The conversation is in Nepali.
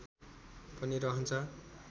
पनि रहन्छ